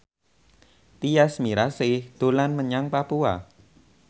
Tyas Mirasih dolan menyang Papua